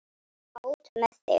Svona, út með þig!